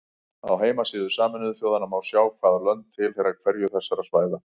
Á heimasíðu Sameinuðu þjóðanna má sjá hvaða lönd tilheyra hverju þessara svæða.